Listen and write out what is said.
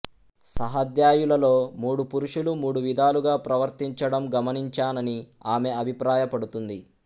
సహాధ్యాయులలో మూడు పురుషులు మూడు విధాలుగా ప్రవర్తించడం గమనించానని ఆమె అభిప్రాయపడుంది